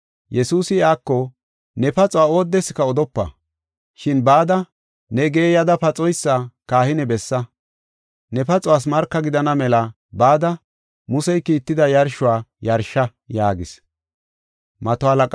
Yesuusi iyako, “Ne paxuwa oodeska odopa. Shin bada ne geeyada paxoysa kahine bessa. Ne paxuwas marka gidana mela bada Musey kiitida yarshuwa yarsha” yaagis.